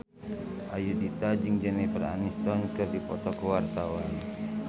Ayudhita jeung Jennifer Aniston keur dipoto ku wartawan